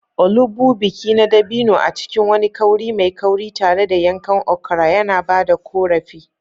Olugbu, biki na dabino a cikin wani kauri mai kauri, tare da yankan okra yana ba da ƙorafi.